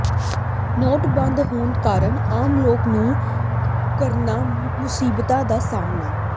note ਬੰਦ ਹੋਣ ਕਾਰਨ ਆਮ ਲੋਕਾਂ ਨੂੰ ਕਰਨਾ ਮੁਸ਼ੀਬਤਾਂ ਦਾ ਸਾਹਮਣਾ